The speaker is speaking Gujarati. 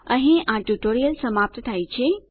અહીં આ ટ્યુટોરીયલ સમાપ્ત થાય છે